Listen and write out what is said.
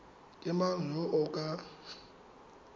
ke mang yo o ka